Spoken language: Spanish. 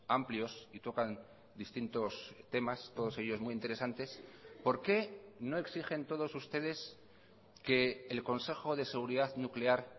amplios y tocan distintos temas todos ellos muy interesantes por qué no exigen todos ustedes que el consejo de seguridad nuclear